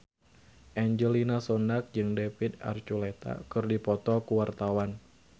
Angelina Sondakh jeung David Archuletta keur dipoto ku wartawan